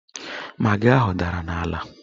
Magị ahụ dara n'ala